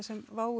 WOW